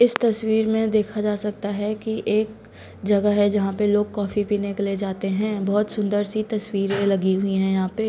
इस तस्वीर में देखा जा सकता हैं कि एक जगह है जहां पर लोग कॉफी पीने के लिए जाते हैं बहुत सुंदर सी तस्वीरें लगी हुई है यहां पे।